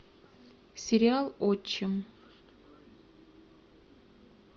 сериал отчим